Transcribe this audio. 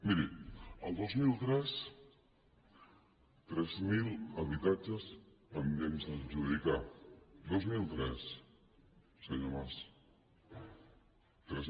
miri el dos mil tres tres mil habitatges pendents d’adjudicar dos mil tres senyor mas